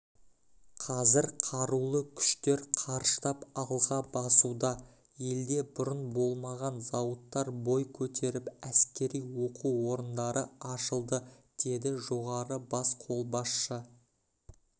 қазір қарулы күштер қарыштап алға басуда елде бұрын болмаған зауыттар бой көтеріп әскери оқу орындары ашылды деді жоғары бас қолбасшы